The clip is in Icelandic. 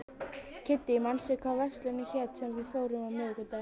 Kiddý, manstu hvað verslunin hét sem við fórum í á miðvikudaginn?